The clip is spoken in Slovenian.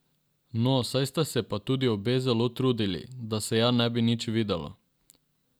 No, saj sta se pa tudi obe zelo trudili, da se ja ne bi nič videlo.